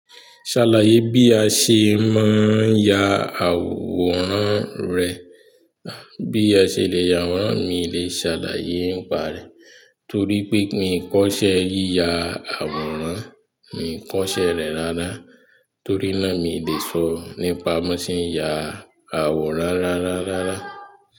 Ṣàlàyé bí a ṣe máa ń ya àwòrán rẹ̀. Bí a ṣe lè ya àwòrán mi lè ṣàlàyé ń pa rẹ̀ torí pé mi kọ́ṣẹ́ yíya àwòrán, mi kọ́ṣẹ́ rẹ̀ rárá. Torí náà mi le sọ nípa bi wọn se n ya àwòrán rararara.